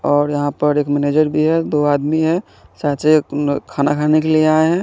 और यहा पर एक मेनेजर भी है दो आदमी है सायद से खाना खाने के लिए यहा आये है।